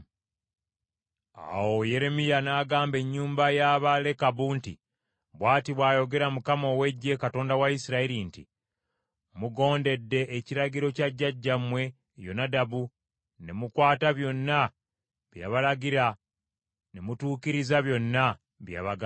Awo Yeremiya n’agamba ennyumba y’Abalekabu nti, “Bw’ati bw’ayogera Mukama ow’Eggye, Katonda wa Isirayiri nti, ‘Mugondedde ekiragiro kya jjajjaammwe Yonadabu ne mukwata byonna bye yabalagira ne mutuukiriza byonna bye yabagamba.’